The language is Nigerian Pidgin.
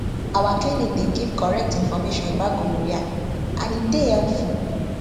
our clinic dey give correct information about gonorrhea and e dey helpful